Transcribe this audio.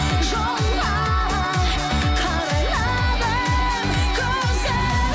жолға қарайладым көзім